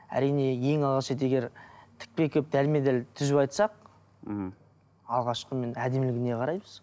әрине ең алғаш рет егер тікпе келіп дәлме дәл түзу айтсақ мхм алғашқымен әдемілігіне қараймыз